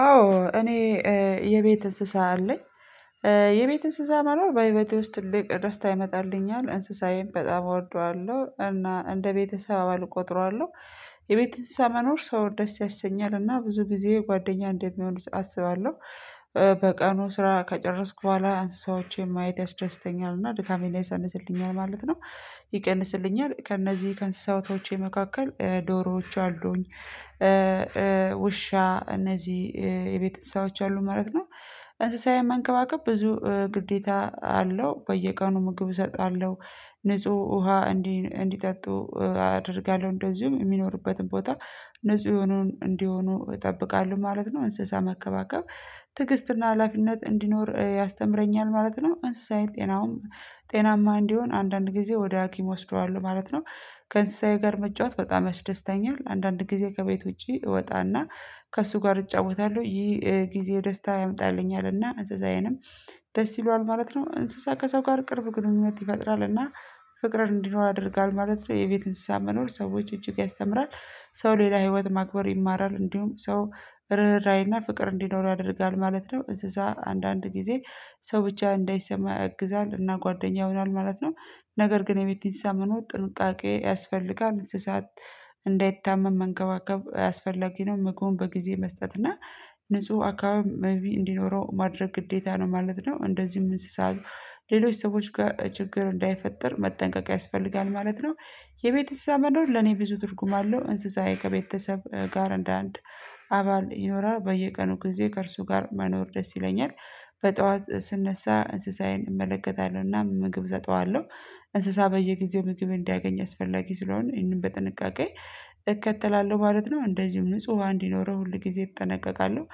አዎ እኔ የቤት እንስሳ አለኝ የቤት እንስሳ መኖር በህይወቴ ውስጥ ትልቅ ደስታ ይመጣልኛል እንስሳዬም በጣም እወደዋለሁ እና እንደ ቤተሰብ አባል እቆጥረዋለሁ። የቤት እንስሳ መኖር ሰው ደስ ያሰኛልና ብዙ ጊዜ ጓደኛ እንደሚሆኑ አስባለው። በቀኑ ስራ ከጨረስኩ ቦኋላ እንስሳዎቼን ማየት ያስዳስተኛል እና ድካሜ ላይ ያሳንስልኛል ማለት ነው። ይቀንስልኛል ከእነዚህ ከእንስሳዎቶቼ መካከል ዶሮዎች አሉኝ ውሻ እነዚህ የቤተ አንስሳዎች አሉ ማለት ነው። እንስሳ የመንከባከብ ብዙ ግዴታ አለው በየቀኑ ምግብ እሰጣለው። ንጹህ ውሃ እንዲህ እንዲጠጡ አደርጋለሁ እንደዚሁም የሚኖርበትም ቦታ ንጹህ የሆኑ እንዲሆኑ እጠብቃለሁ ማለት ነው። እንስሳ መንከባከብ ትግስትና ሀላፊነት እንዲኖር ያስተምረኛል ማለት ነው። እንስሳዬ ጤናውም ጤናማ እንዲሆን አንዳንድ ጊዜ ወደ ሀኪም አወስደዋለሁ ማለት ነው። ከእንስሳዬ ጋር መጫወት በጣም ያስደስተኛል። አንዳንድ ጊዜ ከቤት ውጪ እወጣና ከእሱ ጋር እጫወታለሁ ይህ ጊዜ ደስታ ያመጣልኛል ናአ እዛዛዬንም ደስ ይለዋል ማለት ነው። እንስሳ ከሰው ጋር ቅርብ ግንኙነት ይፈጥራልና ፍቅር እንዲኖር አድርጋል ማለት ነው። የቤት እንስሳ መኖር ሰዎች እጅግ ያስተምራል ሰው ሌላ ህይወት ማክበር ይማራል እንዲሁም ሰው ርህራሄና ፍቅር እንዲኖር ያደርጋል ማለት ነው። እንስሳ አንዳንድ ጊዜ ሰው ብቻ እንዳይሰማ ያግዛል እና ጓደኛ ይሆናል ማለት ነው። ነገር ግን የቤት አንስሳ መኖር ጥንቃቄ ያስፈልጋል እንደዚህ ሰዓት እንዳይታመም መንከባከብ አያስፈላጊ ነው መግቡን በጊዜ መስጠት እና ንጹህ አካባቢ እንዲኖረው ማድረግ ግዴታ ነው ማለት ነው። እንደዚሁም እንስሳ ሌሎች ሰዎች ጋር ችግር እንዳይፈጠር መጠንቀቅ ያስፈልጋል ማለት ነው። የቤት አንስሳ መኖር ለኔ ብዙ ትርጉም አለው እንስሳዬ ከቤተሰብ ጋር እንደ አንድ አባል ይኖራል በየቀኑ ጊዜ ከእርሱ ጋር መኖር ደስ ይለኛል። በጡዋት ስነሳ እንስሳዬን እመለከታለሁና ምግብ እሰጡዋለው። እንስሳ በየጊዜው ምግብ እንዳያገኝ አስፈላጊ ስለሆነ ይህንን በጥንቃቄ እከተላለሁ ማለት ነው። እንደዚሁም ንጹህ ዉሃ እንዲኖረው ሁል ጊዜ እጠነቀቃለሁ።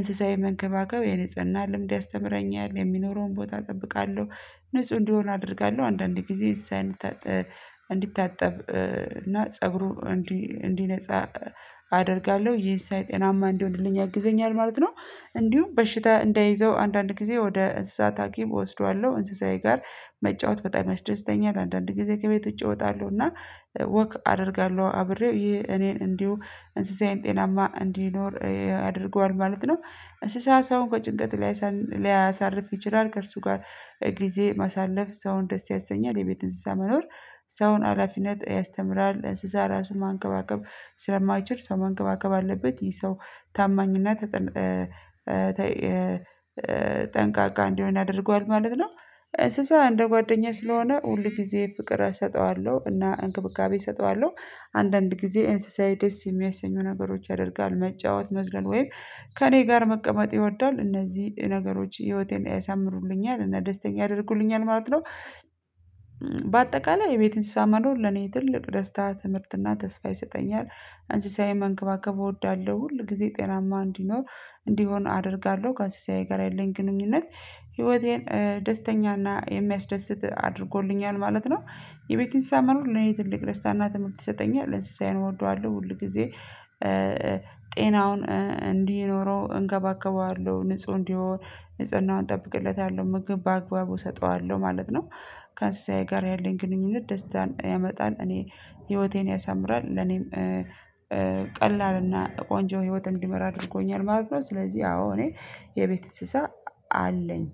እንስሳዬ መንከባከብ የንጽህና ልምድ ያስተምረኛል የሚኖረውን ቦታ እጠብቃለሁ ንጹህ እንዲሆኑ አደርጋለሁ አንዳንዴ ጊዜ እዛ እንዲታጠብ እና ፀጉሩ እንዲነጻ አደርጋለሁ ይሄን ሳይ ጤናማ እንዲሆንልኝ ያግዘኛል ማለት ነው። እንዲሁም በሽታ እንደይዘው አንዳንድ ጊዜ ወደ እንስሳት ሀኪም እወስደዋለሁ እንስሳዬ ጋር መጫወት በጣም ያስደስተኛል። አንዳንድ ጊዜ ከቤቱ ዉጪ አወጣለሁ ወክ አደርጋለሁ አብሬው ይሄ እኔን እንዲሁ እንስሳዬን ጤናማ እንዲኖር ያደርገዋል ማለት ነው። እንስሳ ሰው ከጭንቀት ላይ ሊያሳርፍ ይችላል ከእርሱ ጋር ጊዜ ማሳለፍ ሰውን ደስ ያሰኛል የቤት እንስሳ መኖር ሰውን ሀላፊነት ያስተምራል እንስሳ ራሱ ማንከባከብ ስለማይችል ሰው ማንከባከብ አለበት። ይህ ሰው ታማኝና ተጠንቃቃ እንዲሆን ያደርጓል ማለት ነው። እንስሳ እንደ ጓደኛዬ ስለሆነ ሁሊ ጊዜ ፍቅር እሰጠዋለሁ እና እንክብካቤ እሰጠዋለው። አንዳንድ ጊዜ ኢንስሳዬ ደስ የሚያሰኙ ነገሮች ያደርጋሉ መጫወት መዝለል ወይም ከእኔ ጋር መቀመጥ ይወዳል። እነዚህ ነገሮች ህይወቴን ያሳምሩልኛል እና ደስተኛ ያደርጉልኛል ማለት ነው። በአጠቃላይ የቤት እንስሳ መኖር ለኔ ትልቅ ደስታ ትምህርትና ተስፋ ይሰጠኛል። እንስሳዬ መንከባከብ እወዳለሁ ሁል ጊዜ ጤናማ እንዲኖር እንዲሆን አደርጋለሁ ከአንስሳዬ ጋር ያለኝ ግንኙነት ህይወቴን ደስተኛና የሚያስደስት አድርጎልኛል ማለት ነው። የቤትን አንስሳ መኖር ለኔ ትልቅ ደስታና ትምህርት ይሰጠኛል። አንስሳዬን እወደዋለሁ ሁሊ ጊዜ ጤናውን እንዲህ ኖሮ እንከባከባዋለሁ ንጹህ እንዲሆን ንጽህናውን እጠብቅለታለሁ ምግብ በአግባቡ እሰጠዋለሁ ማለት ነው። ከአንስሳዬ ጋር ያለኝ ግንኙነት ደስታን ያመጣል እኔ ህይወቴን ያሳምራል። ለኔም ቀላል አና ቆንጆ ህይወት እንዲመራ አድርጎኛል ማለት ነው። ስለዚህ አዎ እኔ የቤት እንስሳ አለኝ።